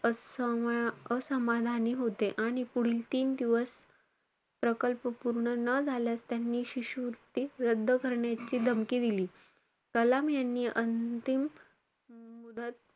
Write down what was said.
असा~ असमाधानी होते आणि पुढील तीन दिवस प्रकल्प पूर्ण न झाल्यास त्यांनी शिष्यवृत्ती रद्द करण्याची धमकी दिली. कलाम यांनी अंतिम मुदत,